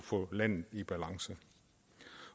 få landet i balance